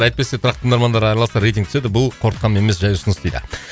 әйтпесе тұрақты тыңдармандар араласса рейтинг түседі бұл қорқытқаным емес жай ұсыныс дейді